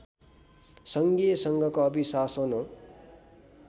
सङ्घीय सङ्घको अभिशासन हो